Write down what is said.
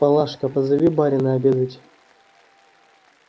палашка позови барина обедать